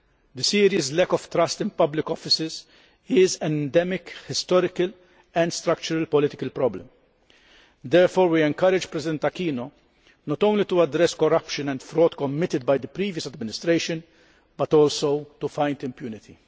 The serious lack of trust in public offices is an endemic historical and structural political problem. Therefore, we encourage President Aquino not only to address corruption and fraud committed by the previous administration but also to fight impunity.